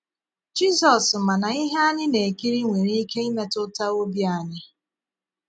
Jizọs ma na ihe ànyị na - ekíri nwere ike imétùtà obi ànyị.